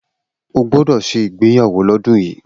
O gbọ́dọ̀ ṣe ìgbéyàwó lọ́dún yìí